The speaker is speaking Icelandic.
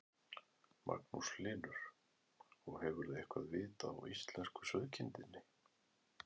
Magnús Hlynur: Og hefurðu eitthvað vit á íslensku sauðkindinni?